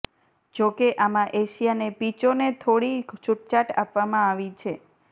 જો કે આમાં એશિયાને પિચોને થોડી છૂટછાટ આપવામાં આવી છે